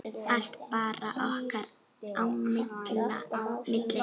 Allt bara okkar á milli.